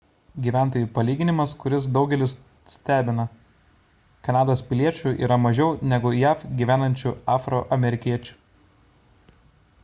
gyventojų palyginimas kuris daugelį stebina kanados piliečių yra mažiau negu jav gyvenančių afroamerikiečių